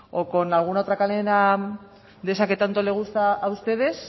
o con alguna otra cadena de esa que tanto les gusta a ustedes